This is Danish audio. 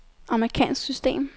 amerikansk system